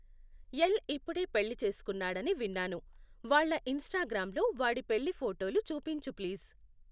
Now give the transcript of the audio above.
ఏల్ ఇప్పుడే పెళ్లి చేసుకున్నాడని విన్నాను. వాళ్ళ ఇంస్టాగ్రామ్లో వాడి పెళ్లి ఫోటోలు చూపించు ప్లీజ్.